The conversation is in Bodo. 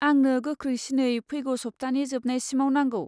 आंनो गोख्रैसिनै फैगौ सब्थानि जोबनायसिमाव नांगौ।